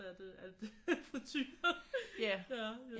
Af det af friture